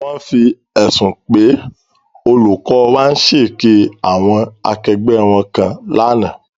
Wọ́n fi ẹ̀sùn pé olùkọ́ wa ń ṣe èké àwọn akẹgbẹ́ wọn kàn wọ́n lánàá.